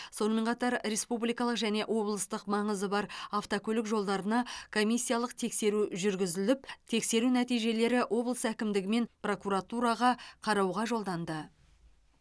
сонымен қатар республикалық және облыстық маңызы бар автокөлік жолдарына комиссиялық тексеру жүргізіліп тексеру нәтижелері облыс әкімдігі мен прокуратураға қарауға жолданды